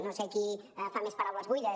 no sé qui fa més paraules buides